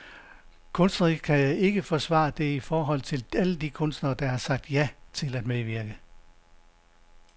Kunstnerisk kan jeg ikke forsvare det i forhold til alle de kunstnere, der har sagt ja til at medvirke.